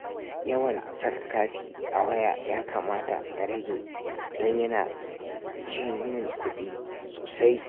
Yawan saka kati a waya ya kamata na rage don yana ci min kuɗi sosai